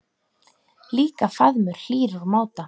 Líka faðmur hlýr úr máta.